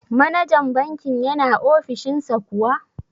Manajan bankin yana ofishin sa kuwa?